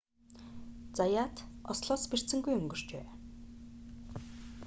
заяат ослоос бэртсэнгүй өнгөрчээ